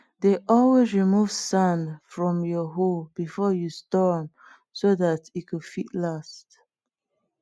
dey always remove sand from your hoe before you store am so dat e go fit last